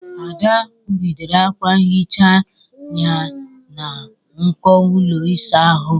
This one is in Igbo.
Ada kwụgidere akwa nhicha ya na nko ụlọ ịsa ahụ.